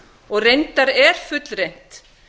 og reyndar er fullreynt